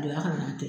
O la ka na to yen